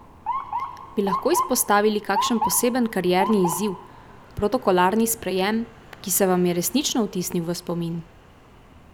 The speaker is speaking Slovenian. Bi lahko izpostavili kakšen poseben karierni izziv, protokolarni sprejem, ki se vam je resnično vtisnil v spomin?